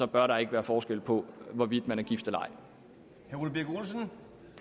bør der ikke være forskel på hvorvidt man er gift eller ej